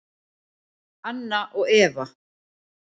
Anna og Eva.